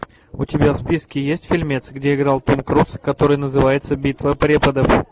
у тебя в списке есть фильмец где играл том круз который называется битва преподов